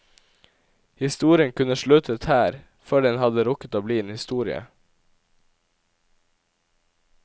Historien kunne sluttet her, før den hadde rukket å bli en historie.